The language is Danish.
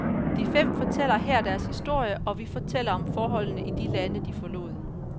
De fem fortæller her deres historie, og vi fortæller om forholdene i de lande, de forlod.